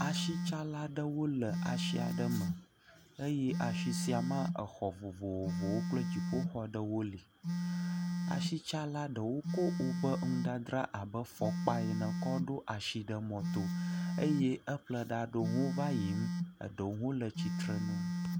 Asitsala aɖewo le asi aɖe me eye asi sia mea exɔ vovovowo kple dziƒoxɔ ɖewo li. Asitsala ɖewo kɔ woƒe nudzadzra abe fɔkpa ene kɔ ɖo asi ɖe mɔto eye eƒlela aɖewo hã va yiyim eɖɖewo hãã le tsitre nu.